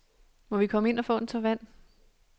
Må vi komme ind og få en tår vand?